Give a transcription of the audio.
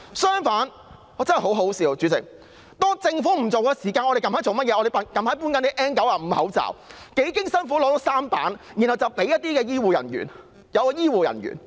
主席，我真的覺得很可笑，政府不派口罩，我們四出搜羅 N95 口罩，幾經辛苦取得3批，然後分發給醫護人員。